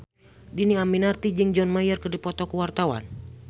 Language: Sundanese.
Dhini Aminarti jeung John Mayer keur dipoto ku wartawan